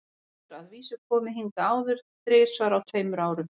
Hann hefur að vísu komið hingað áður, þrisvar á tveimur árum.